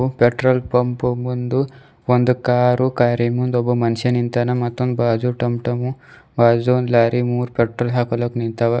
Petrol pump ಮುಂದು ಒಂದು car ಕಾರಿನ್ ಮುಂದ್ ಒಬ್ಬ ಮನುಷ್ಯ ನಿಂತಾನ ಮತ್ತೊಂದ್ ಬಾಜು ಟಮ್ ಟಮ್ ಬಾಜು ಒಂದ್ ಲಾರಿ ಮೂರ್ ಪೆಟ್ರೋಲ್ ಹಾಕೊಳಾಕ್ ನಿಂತಾವ.